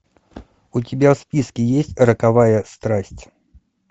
у тебя в списке есть роковая страсть